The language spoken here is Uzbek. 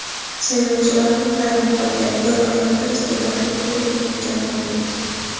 "Saylovchilar ham hayron qolgan" - bir oyoqda deputatlik qilayotgan Javlonbek.